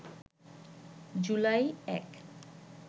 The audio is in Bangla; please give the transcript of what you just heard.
জুলাই ০১